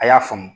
A y'a faamu